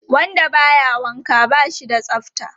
Wanda ba ya wanka ba shi da tsafta.